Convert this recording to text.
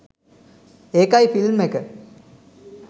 ඒකයි ෆිල්ම් එක